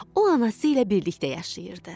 O anası ilə birlikdə yaşayırdı.